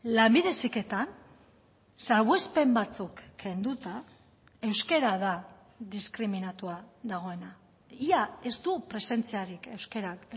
lanbide heziketan salbuespen batzuk kenduta euskara da diskriminatua dagoena ia ez du presentziarik euskarak